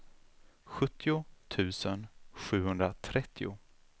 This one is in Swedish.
sjuttio tusen sjuhundratrettio